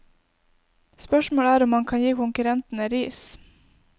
Spørsmålet er om han kan gi konkurrentene ris.